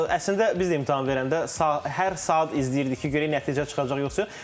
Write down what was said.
Əslində biz də imtahan verəndə hər saat izləyirdik ki, görək nəticə çıxacaq yoxsa yox.